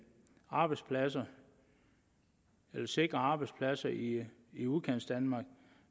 arbejdspladser og sikre arbejdspladser i i udkantsdanmark